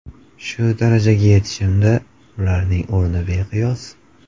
Shu darajaga yetishimda ularning o‘rni beqiyos.